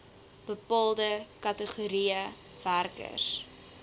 bepaalde kategorieë werkers